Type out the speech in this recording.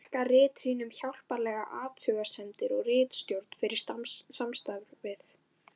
Ég þakka ritrýnum hjálplegar athugasemdir og ritstjórn fyrir samstarfið.